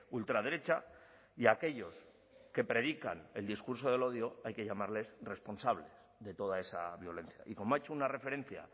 ultraderecha y aquellos que predican el discurso del odio hay que llamarles responsables de toda esa violencia y como ha hecho una referencia